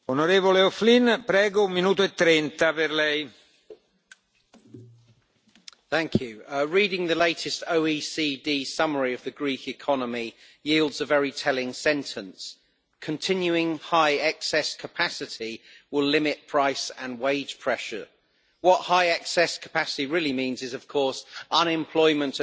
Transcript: Mr President, reading the latest OECD summary of the Greek economy yields a very telling sentence Continuing high excess capacity will limit price and wage pressure'. What high excess capacity' really means is unemployment at